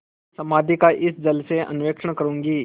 समाधि का इस जल से अन्वेषण करूँगी